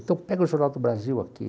Então pega o Jornal do Brasil aqui.